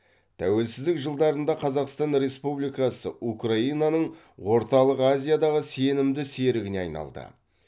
тәуелсіздік жылдарында қазақстан республикасы украинаның орталық азиядағы сенімді серігіне айналды